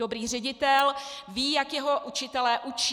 Dobrý ředitel ví, jak jeho učitelé učí.